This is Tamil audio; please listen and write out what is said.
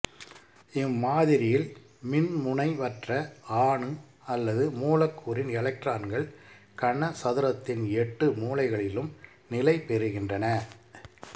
இம்மாதிரியில் மின்முனைவற்ற அணு அல்லது மூலக்கூறின் எலக்ட்ரான்கள் கனசதுரத்தின் எட்டு மூலைகளிலும் நிலைபெறுகின்றன